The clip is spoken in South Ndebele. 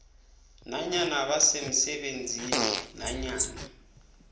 nanyana basemsebenzini nanyana